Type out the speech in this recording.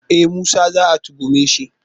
E! Musa za a tuhume shi.